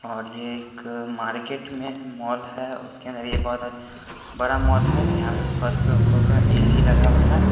और ये एक मार्केट में मॉल है उसके अंदर ये बहुत बड़ा मॉल है यहां फर्स्ट ऊपर में ए_सी लगा हुआ है.